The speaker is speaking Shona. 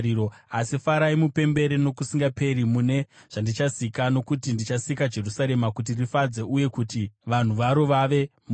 Asi farai mupembere nokusingaperi mune zvandichasika, nokuti ndichasika Jerusarema kuti rifadze uye kuti vanhu varo vave mufaro.